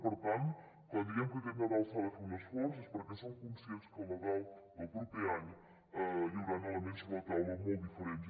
per tant quan diem que aquest nadal s’ha de fer un esforç és perquè som conscients que el nadal del proper any hi hauran elements sobre la taula molt diferents